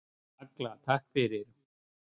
Agla: Takk fyrir.